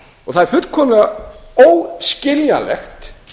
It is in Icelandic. og það er fullkomlega óskiljanlegt